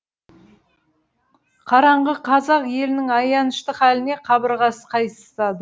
қараңғы қазақ елінің аянышты халіне қабырғасы қайысады